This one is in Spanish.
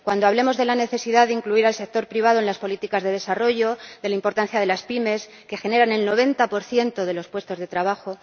cuando hablemos de la necesidad de incluir al sector privado en las políticas de desarrollo, de la importancia de las pymes, que generan el 90 de los puestos de trabajo